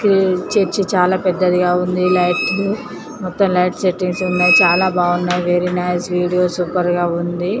Church చాలా పెద్దదిగా ఉన్నాయి లైట్ లు మొత్తం లైట్ సెట్టింగ్స్ తో చాలా బాగున్నాయి వెరీ నైస్ వీడియో సూపర్ గా ఉంది.